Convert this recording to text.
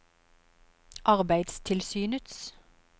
arbeidstilsynets